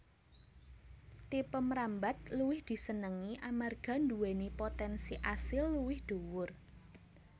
Tipe mrambat luwih disenengi amarga nduwèni potènsi asil luwih dhuwur